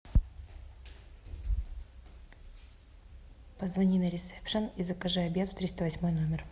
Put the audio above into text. позвони на ресепшен и закажи обед в триста восьмой номер